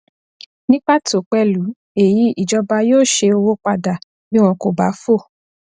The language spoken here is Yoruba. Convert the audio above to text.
ní pàtó pẹlú èyí ìjọba yóò șe owó padà bí wọn kò bá fò